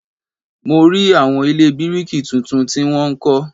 Mo rí àwọn ilé bíríkì tuntun tí a wọ́n ń kọ́